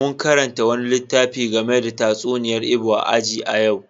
Mun karanta wani littafi game da tatsuniyar Igbo a aji a yau.